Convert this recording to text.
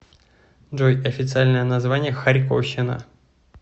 джой официальное название харьковщина